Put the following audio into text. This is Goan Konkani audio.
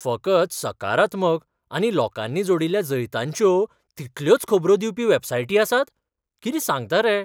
फकत सकारात्मक आनी लोकांनी जोडिल्ल्या जैतांच्यो तितल्योच खबरो दिवपी वॅबसायटी आसात? कितें सांगता रे?